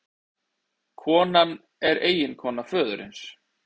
Konan er eiginkona föðursins